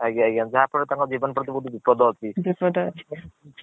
ଆଜ୍ଞା ଆଜ୍ଞା ଯାହା ଫଳ ରେ ତାଙ୍କ ଜିବନ ପ୍ରତି ବିପଦ ଅଛି। ବିପଦ ଅଛି।